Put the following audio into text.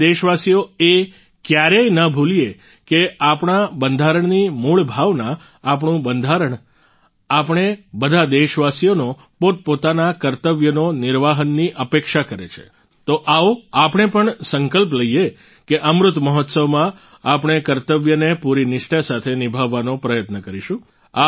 આપણે દેશવાસીઓ એ ક્યારેય ન ભૂલીએ કે આપણા બંધારણની મૂળ ભાવના આપણું બંધારણ આપણે બધા દેશવાસીઓનો પોતપોતાના કર્તવ્યોના નિર્વહનની અપેક્ષા કરે છે તો આવો આપણે પણ સંકલ્પ લઈએ કે અમૃત મહોત્સવમાં આપણે કર્તવ્યોને પૂરી નિષ્ઠા સાથે નિભાવવાનો પ્રયત્ન કરીશું